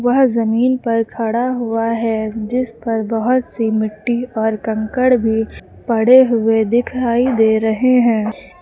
वह जमीन पर खड़ा हुआ है जिस पर बहुत सी मिट्टी और कंकड़ भी पड़े हुए दिखाई दे रहे हैं।